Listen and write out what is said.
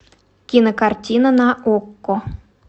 кинокартина на окко